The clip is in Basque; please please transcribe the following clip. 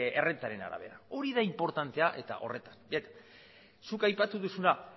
errentaren arabera hori da inportantea zuk aipatu duzuna